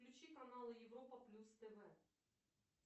включи канал европа плюс тв